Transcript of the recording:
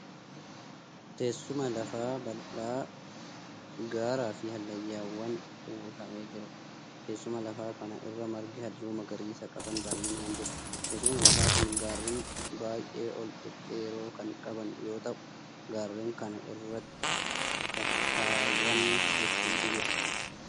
Teessuma lafaa bal'aa gaaraa fi hallayyaan uwwifamee jiruudha. Teessuma lafaa kana irra margi halluu magariisa qaban baayinaan jiru. Teessumni lafaa kun gaarreen baay'ee ol dhedheeroo kan qaban yoo ta'u gaarreen kana irra kattaawwan hedduutu jira.